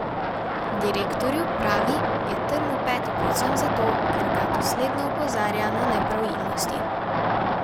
Direktorju, pravi, je trn v peti predvsem zato, ker ga dosledno opozarja na nepravilnosti.